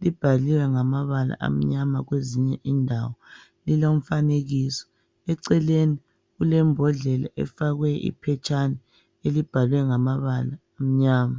libhaliwe ngamabala amnyama kwezinye indawo. Lilo mfanekiso, eceleni kulembodlela efakwe iphetshana elibhalwe ngamabala amnyama.